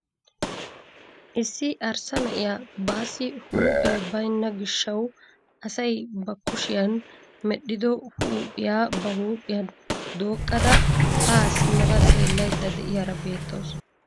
Issi arssa na'iyaa bassi huuphphee baynna gishshawu asay ba kushiyaan medhido huuphphiyaa ba huuphphiyaan doqqada haa simmada xeellayda de'iyaara beettawus.